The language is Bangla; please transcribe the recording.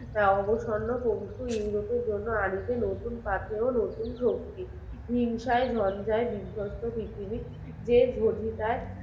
হিংসায় ঝঞ্জাই বিধ্বস্ত পৃথিবী যে যোগিতায়